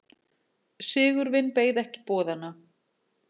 Sigurvin beið ekki boðanna.